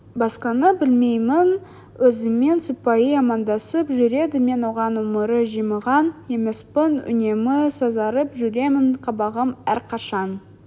басқаны білмеймін өзіммен сыпайы амандасып жүреді мен оған өмірі жымиған емеспін үнемі сазарып жүремін қабағым әрқашан